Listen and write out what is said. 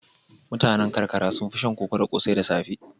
Mutanen karkara sun fi shan koko da ƙosai da safe.